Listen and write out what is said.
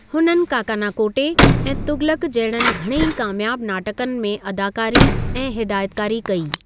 हुननि काकाना कोटे ऐं तुग़लक़ जहिड़नि घणई कामियाबु नाटकनि में अदाकारी ऐं हिदायतकारी कई।